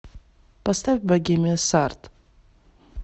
поставь богемия сард